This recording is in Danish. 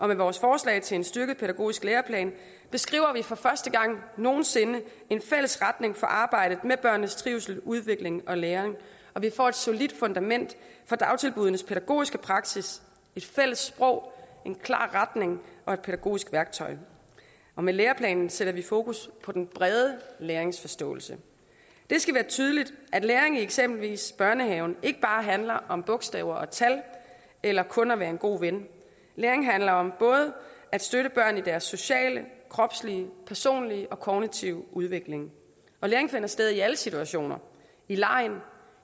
med vores forslag til en styrket pædagogisk læreplan beskriver vi for første gang nogen sinde en fælles retning for arbejdet med børnenes trivsel udvikling og læring og vi får et solidt fundament for dagtilbuddenes pædagogiske praksis et fælles sprog en klar retning og et pædagogisk værktøj med læreplanen sætter vi fokus på den brede læringsforståelse det skal være tydeligt at læring i eksempelvis børnehaven ikke bare handler om bogstaver og tal eller kun om at være en god ven læring handler om at støtte børn både i deres sociale kropslige personlige og kognitive udvikling og læring finder sted i alle situationer i legen